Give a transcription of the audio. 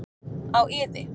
Á iði.